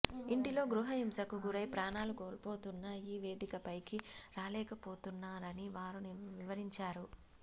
ఇంటిలో గృహహింసకు గురై ప్రాణాలు కోల్పోతున్న వారు ఈ వేదికపైకి రాలేకపోతున్నా రని వారు వివరించారు